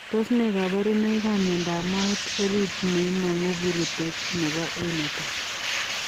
Tos ne kabarunoik ap miondopp moet oriit neimanguu purutek nepo A netai?